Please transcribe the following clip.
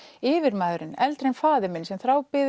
yfirmaðurinn eldri en faðir minn sem